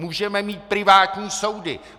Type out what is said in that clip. Můžeme mít privátní soudy.